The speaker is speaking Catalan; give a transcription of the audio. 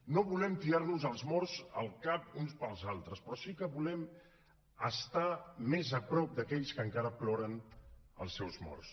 no volem tirar nos els morts al cap uns pels altres però sí que volem estar més a prop d’aquells que encara ploren els seus morts